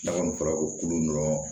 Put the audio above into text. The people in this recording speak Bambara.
N'a kɔni fɔra o kulu dɔrɔn